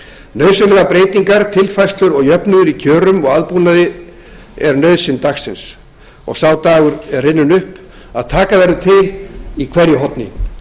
nauðsynlegar breytingar tilfærslur og jöfnuður í kjörum og aðbúnaði eru nauðsyn dagsins og sá dagur er runninn upp að taka verður til í hverju horni